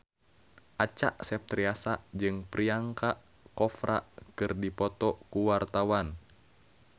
Acha Septriasa jeung Priyanka Chopra keur dipoto ku wartawan